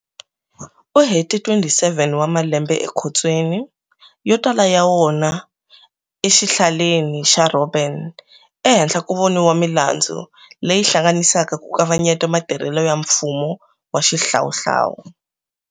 U hete 27 wa malembe ekhotsweni, yo tala ya wona eXihlaleni xa Robben, ehenhla ko voniwa milandzu leyi hlanganisaka ku kavanyeta matirhele ya mfumo wa xihlawuhlawu.